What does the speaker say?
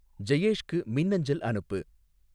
ஜெயேஷ்க்கு மின்னஞ்சல் அனுப்பு